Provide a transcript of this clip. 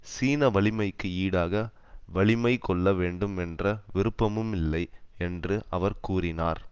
சீன வலிமைக்கு ஈடாக வலிமை கொள்ள வேண்டும் என்ற விருப்பமும் இல்லை என்று அவர் கூறினார்